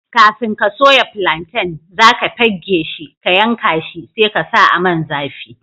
Kafin ka soya plantain, za ka pegge shi, ka yanka shi, sai ka sa a Man zafi.